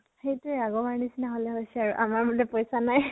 সেইটোয়ে, আগৰ বাবৰ নিছিনা হলে হৈছে আৰু আমাৰ বুলে পইচা নাই